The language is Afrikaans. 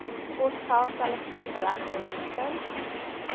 posgeld telefoon regskoste